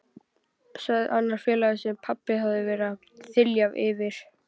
sagði annar félaganna sem pabbi hafði verið að þylja yfir.